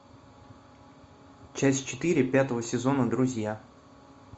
часть четыре пятого сезона друзья